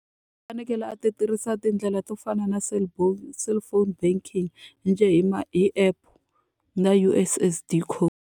U fanekele a ti tirhisa tindlela to fana na cellphone banking njhe hi ma hi app na U_S_S_D code.